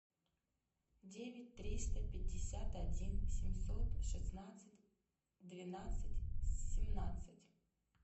девять триста пятьдесят один семьсот шестнадцать двенадцать семнадцать